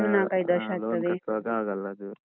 ಆ loan ಕಟ್ಟುವಾಗ ಆಗಲ್ಲ ಅದು.